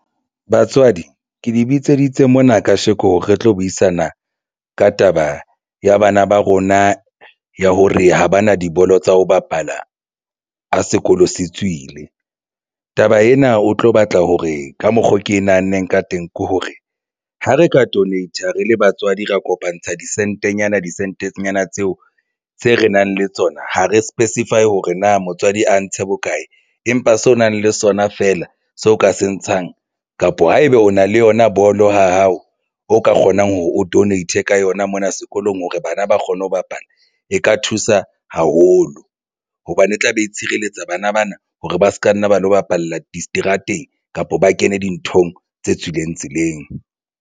Batswadi, ke le bitseditse mona kasheko re tlo buisana ka taba ya bana ba rona ya hore ha ba na dibolo tsa ho bapala ha sekolo se tswile. Taba ena o tlo batla hore ka mokgo ke nahanne ka teng ke hore ha re ka donate-a re le batswadi ra kopantsha disentenyana disentenyana tseo tse re nang le tsona. Ha re specify hore na motswadi a ntshe bokae, empa seo o nang le sona feela seo ka se ntshang kapa haebe o na le yona bolo ha hao o ka kgonang hore o donate-e ka yona mona sekolong hore bana ba kgone ho bapala e ka thusa haholo hobane e tla be e tshireletsa bana bana hore ba se ka nna ba lo bapalla diseterateng kapa ba kene dinthong tse tswileng tseleng.